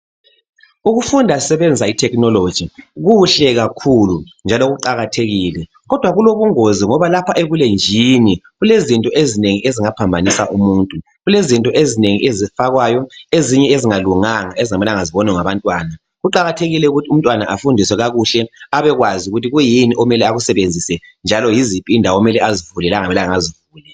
Ukufunda sisebenzisa I technology kuhle kakhulu njalo kuqakathekile. Kodwa kulobungozi ngoba lapha ebulenjini kulezinto ezinengi ezingaphambanisa umuntu. Kulezinto ezinengi ezifakwayo. Ezinye ezingalunganga ezingamelanga zibonwe ngabantwana. Kuqakathekile ukuthi umtwana afundiswe kakuhle abekwazi ukuthi kuyini okumele akusebenzise. Njalo yiziphi indawo okumele azivule lokungamelanga azivule.